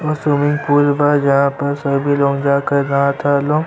और swimming pool बा जहाँ पर सभी लोग जाके नहाता लोग।